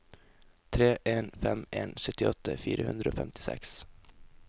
tre en fem en syttiåtte fire hundre og femtiseks